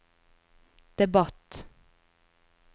debatt